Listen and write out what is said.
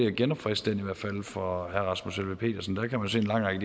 at genopfriske den i hvert fald for herre rasmus helveg petersen der kan man se en lang række